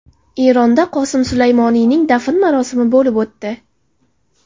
Eronda Qosim Sulaymoniyning dafn marosimi bo‘lib o‘tdi.